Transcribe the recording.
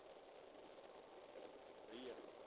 ਸਹੀ ਹੈ